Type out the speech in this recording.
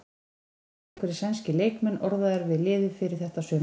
Það voru einhverjir sænskir leikmenn orðaðir við liðið fyrir þetta sumar?